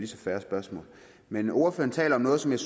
så fair spørgsmål men ordføreren taler om noget som jeg